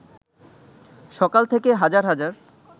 সকাল থেকে হাজার হাজার